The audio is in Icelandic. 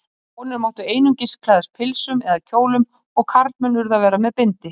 Konur máttu einungis klæðast pilsum eða kjólum og karlmenn urðu að vera með bindi.